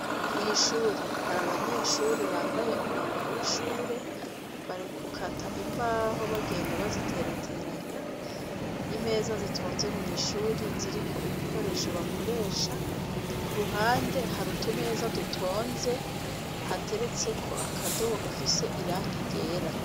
Mw'ishuri hari abanyeshure bambaye umwambaro w'ishuri, bari gukata imbaho bagenda bazitereteranya, imeza zitonze mw'ishuri ziriko ibikoresho bakoresha, kuruhande hari utumeza dutonze, hateretseko akadobo gafise irangi ryera.